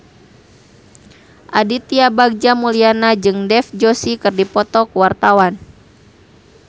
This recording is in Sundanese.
Aditya Bagja Mulyana jeung Dev Joshi keur dipoto ku wartawan